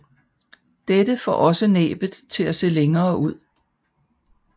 Dette får også næbet til at se længere ud